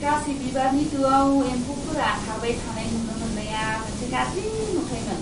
गासै बिबारनि दोआव एम्फौफोरा खारबाय थानाय नुनो मोननाया मोनसे गाज्रि नुथायमोन।